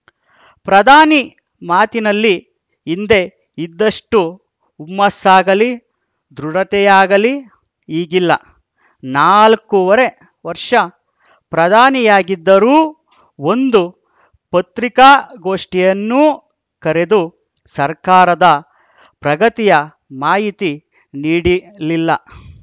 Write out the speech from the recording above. ಪ್ರಧಾನಿ ಮಾತಿನಲ್ಲಿ ಹಿಂದೆ ಇದ್ದಷ್ಟುಹುಮ್ಮಸ್ಸಾಗಲಿ ದೃಢತೆಯಾಗಲಿ ಈಗಿಲ್ಲ ನಾಲ್ಕೂವರೆ ವರ್ಷ ಪ್ರಧಾನಿಯಾಗಿದ್ದರೂ ಒಂದು ಪತ್ರಿಕಾಗೋಷ್ಠಿಯನ್ನೂ ಕರೆದು ಸರ್ಕಾರದ ಪ್ರಗತಿಯ ಮಾಹಿತಿ ನೀಡಿಲಿಲ್ಲ